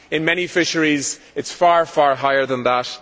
In many fisheries it is far far higher than that.